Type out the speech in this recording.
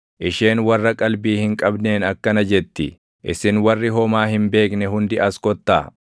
Isheen warra qalbii hin qabneen akkana jetti; “Isin warri homaa hin beekne hundi as kottaa!